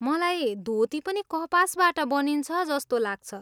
मलाई धोती पनि कपासबाट बनिन्छ जस्तो लाग्छ।